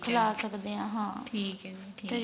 ਖਿਲਾ ਸਕਦੇ ਆ ਹਾਂ ਠੀਕ ਏ ਜੀ ਠੀਕ